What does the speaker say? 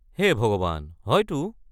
হে ভগৱান, হয়তো!